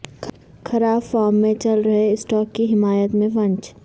خراب فارم میں چل رہے اسٹارک کی حمایت میں فنچ